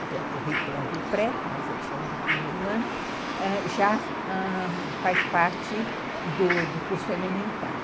porque o currículo é do pré, mas eles chamam de primeiro ano, ãh, já faz parte do curso elementar.